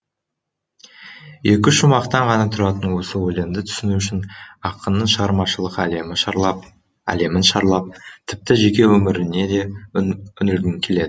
екі шумақтан ғана тұратын осы өлеңді түсіну үшін ақынның шығармашылық әлемін шарлап тіпті жеке өміріне де үңілгің келеді